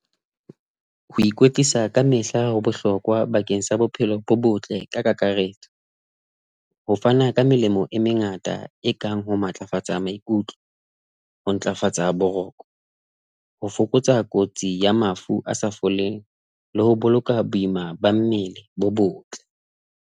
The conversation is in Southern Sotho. Ho ikwetlisa ka mehla ho bohlokwa bakeng sa bophelo bo botle ka kakaretso, ho fana ka melemo e mengata e kang ho matlafatsa maikutlo, ho ntlafatsa boroko, ho fokotsa kotsi ya mafu a sa foleng le ho boloka boima ba mmele bo botle.